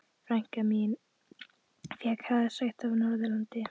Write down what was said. Frænka mín fékk hraðasekt á Norðurlandi.